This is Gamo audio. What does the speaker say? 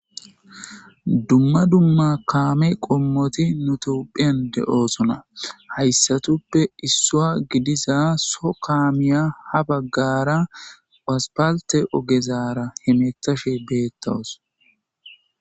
dumma dumma kaame qommoti nutophen de7oosona hayssatuppe issoa gidiza so kaamiya ha baggara aspalte ogezaara hemethashe beettowos